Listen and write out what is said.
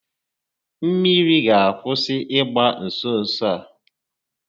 Mmiri ga akwụsị ịgba nso nso a